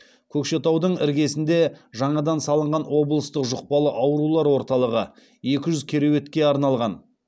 көкшетаудың іргесінде жаңадан салынған облыстық жұқпалы аурулар орталығы екі жүз кереуетке арналған